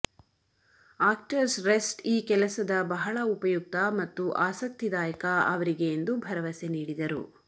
actors rest ಈ ಕೆಲಸದ ಬಹಳ ಉಪಯುಕ್ತ ಮತ್ತು ಆಸಕ್ತಿದಾಯಕ ಅವರಿಗೆ ಎಂದು ಭರವಸೆ ನೀಡಿದರು